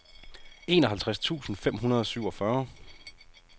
enoghalvtreds tusind fem hundrede og syvogfyrre